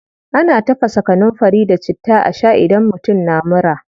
Ana tafasa kanunfari da citta a shaa idan mutum na mura.